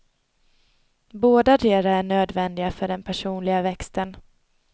Bådadera är nödvändiga för den personliga växten.